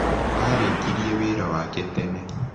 Aarĩkirie wĩra wake tene.